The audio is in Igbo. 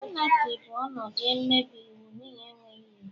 Anarchy bụ ọnọdụ mmebi iwu n'ihi enweghị iwu.